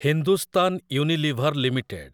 Hindustan Unilever limited